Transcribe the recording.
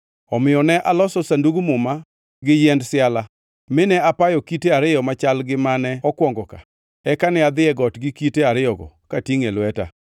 Omiyo ne aloso Sandug Muma gi yiend siala, mine apayo kite ariyo machal gi mane okwongo ka, eka ne adhi e got gi kite ariyogo katingʼo e lweta.